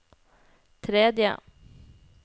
tredje